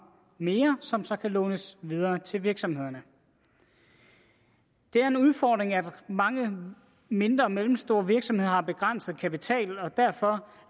mere som så kan lånes videre til virksomhederne det er en udfordring at mange mindre og mellemstore virksomheder har begrænset kapital og derfor